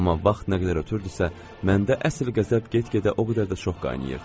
Amma vaxt nə qədər ötürdüsə, məndə əsl qəzəb get-gedə o qədər də çox qaynayırdı.